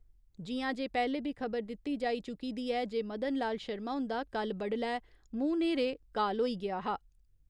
जियां जे पैह्‌ले बी खबर दिती जाई चुकी दी ऐ जे मदन लाल शर्मा हुन्दा कल्ल बड्डलै मुंह न्हेरे काल होई गेआ हा।